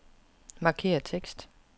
Markér tekst.